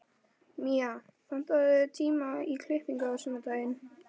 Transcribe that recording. Mía, pantaðu tíma í klippingu á sunnudaginn.